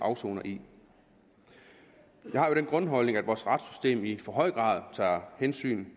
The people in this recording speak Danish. afsoner i jeg har jo den grundholdning at vores retssystem i for høj grad tager hensyn